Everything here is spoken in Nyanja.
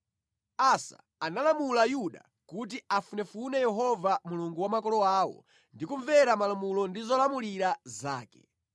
Asa analamula Yuda kuti afunefune Yehova Mulungu wa makolo awo ndi kumvera malamulo ndi zolamulira zake.